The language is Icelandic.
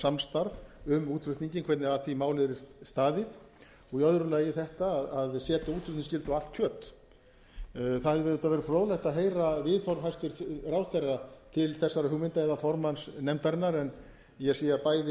samstarf um útflutninginn hvernig að því máli yrði staðið og í öðru lagi þetta að setja útflutningsskyldu á allt kjöt það hefði auðvitað verið formlegt að heyra viðhorf hæstvirtur ráðherra til þessara hugmynda eða formanns nefndarinnar en ég sé að bæði eru vant við